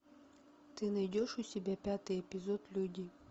ты найдешь у себя пятый эпизод люди